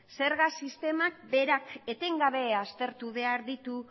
zerga sistema berak etengabe aztertu behar ditu